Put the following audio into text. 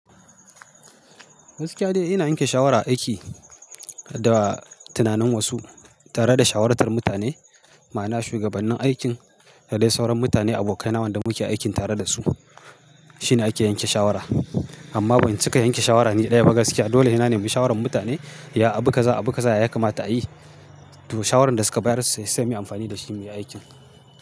Gaskiya dai ina yanke shawara a aiki da tunanin wasu, tare da shawartar mutane. Ma'ana shugabannin aikin da dai sauran mutane, abokai na waɗanda muke aiki tare da su shine ake yanke shawara. Amma ban cika yanke shawara ni ɗaya ba gaskiya. Dole he na nemi shawarar mutane, ya abu kaza, abu kaza ya kamata a yi. To, shawarar da suka bayar sai sai muyi amfani da shi mu yi aikin.